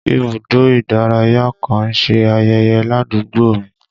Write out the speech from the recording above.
Ibùdó ìdárayá kan ń ṣe ayẹyẹ ládùúgbò mi